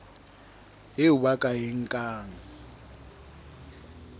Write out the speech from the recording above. eo ba ka e nkang